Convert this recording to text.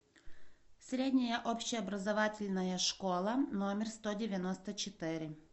средняя общеобразовательная школа номер сто девяносто четыре